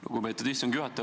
Lugupeetud istungi juhataja!